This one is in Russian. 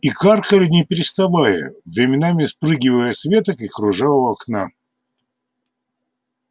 и каркали не переставая временами спрыгивая с веток и кружа у окна